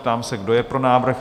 Ptám se, kdo je pro návrh?